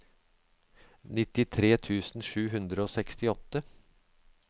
nittitre tusen sju hundre og sekstiåtte